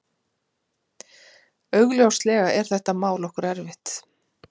Augljóslega er þetta mál okkur erfitt